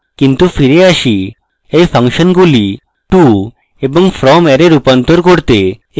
কিন্তু ফিরে আসি এই ফাংশনগুলি to এবং from অ্যারে রূপান্তর করতে